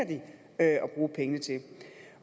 at bruge pengene til